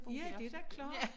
Ja det da klart